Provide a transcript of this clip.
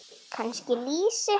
Kannski lýsi?